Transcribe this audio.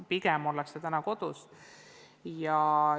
Pigem ollakse kodus.